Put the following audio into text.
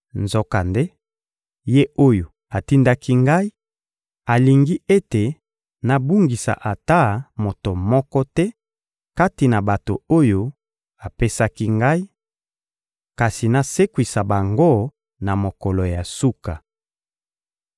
Nzokande, Ye oyo atindaki Ngai alingi ete nabungisa ata moto moko te kati na bato oyo apesaki Ngai, kasi nasekwisa bango na mokolo ya suka.